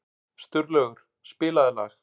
Sturlaugur, spilaðu lag.